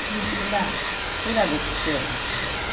не всегда всегда детективы